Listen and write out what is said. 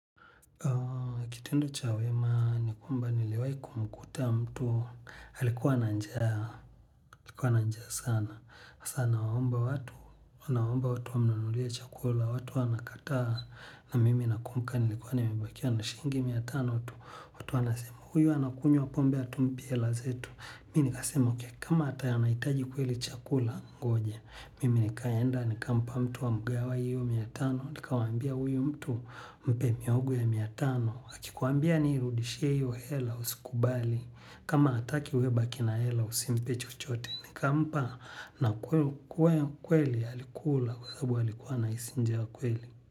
Kitendo cha wema ni kwamba niliwai kumkuta mtu alikuwa na njaa sana sasa anawaomba watu anawaomba watu wamnunulia chakula watu wanakataa na mimi nakumbuka nilikuwa nimebakia na shiingi mia tano tu. Anasema huyu anakunywa pombe hatumpi hela zetu. Mi nikasema ok kama ataya anaitaji kweli chakula ngoja. Mimi nikaenda nikampa mtu amgawe hiyo mia tano. Nikawaambia huyu mtu mpe mihogo miatano. Akikuambia nirudishie hiyo hela usikubali. Kama hataki wewe baki na hela usimpe chochote. Nika mpa na kweli alikula kwa saabu alikuwa na hisi njaa kweli.